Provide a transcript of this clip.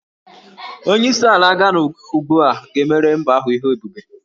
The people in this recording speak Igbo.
Onyeisi ala Gana ugbu a ga-emere mba ahụ ihe ebube